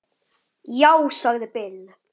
Já, sagði Bill.